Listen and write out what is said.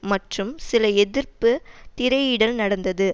மற்றும் சில எதிர்ப்பு திரையிடல் நடந்தது